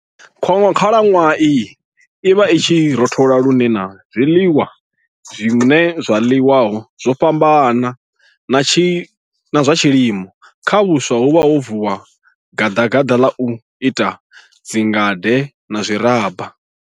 Khalanwaha iyi i vha i tshi rothola lune na zwiḽiwa zwine zwa ḽiwa zwo fhambana na zwa tshilimo. Kha vhuswa huvha ho vuwa gaḓagaḓa ḽa u ita dzingade na zwiraba.